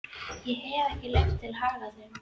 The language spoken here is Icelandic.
Ég hef ekki leyfi til að hagga þeim.